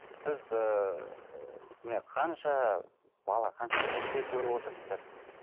сіз ыыы міне қанша бала қанша немере көріп отырсыздар